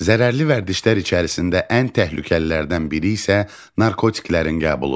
Zərərli vərdişlər içərisində ən təhlükəlilərdən biri isə narkotiklərin qəbuludur.